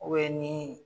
ni